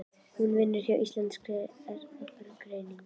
Hún vinnur hjá Íslenskri erfðagreiningu.